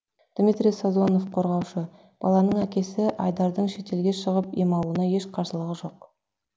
дмитрий созонов қорғаушы баланың әкесі айдардың шетелге шығып ем алуына еш қарсылығы жоқ